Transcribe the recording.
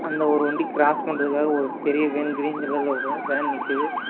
அந்த ஒரு வண்டி க்ராஸ் பண்றதுக்காக ஒரு பெரிய வேன் கிரீன் கலர்ல ஒரு வேன் நிக்கிது.